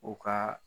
U ka